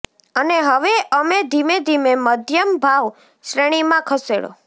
અને હવે અમે ધીમે ધીમે મધ્યમ ભાવ શ્રેણીમાં ખસેડો